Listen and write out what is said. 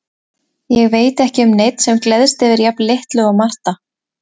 Ég veit ekki um neinn sem gleðst yfir jafn litlu og Marta.